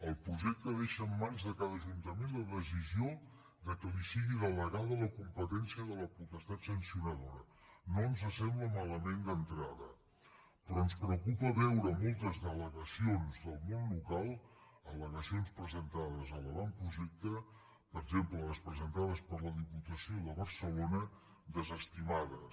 el projecte deixa en mans de cada ajuntament la decisió que li sigui delegada la competència de la potestat sancionadora no ens sembla malament d’entrada però ens preocupa veure moltes al·legacions del món local ala l’avantprojecte per exemple les presentades per la diputació de barcelona desestimades